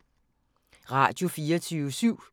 Radio24syv